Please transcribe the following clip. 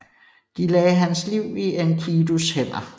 De lagde hans liv i Enkidus hænder